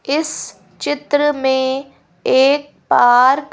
इस चित्र में एक पार्क --